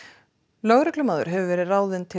lögreglumaður hefur verið ráðinn til